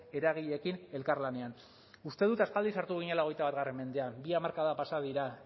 eragileekin elkarlanean uste dut aspaldi sartu ginela hogeita bat mendean bi hamarkada pasa dira